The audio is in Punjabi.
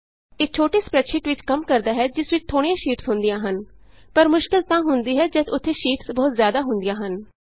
ਇਹ ਛੋਟੀ ਸਪਰੈੱਡਸ਼ੀਟ ਵਿਚ ਕੰਮ ਆਉੰਦਾ ਹੈ ਜਿਸ ਵਿਚ ਥੋੜੀਆਂ ਸ਼ੀਟਸ ਹੁੰਦੀਆਂ ਹਨ ਪਰ ਮੁਸ਼ਕਿਲ ਤਾਂ ਹੁੰਦੀ ਹੈ ਜਦ ਉੱਥੇ ਸ਼ੀਟਸ ਬਹੁਤ ਜ਼ਿਆਦਾ ਹੁੰਦੀਆਂ ਹਨ